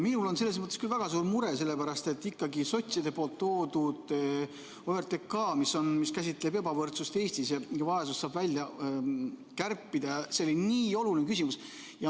Minul on küll väga suur mure, sellepärast et ikkagi sotside toodud OTRK, mis käsitleb ebavõrdsust Eestis, et kas vaesusest saab välja kärpida, see oli nii oluline küsimus.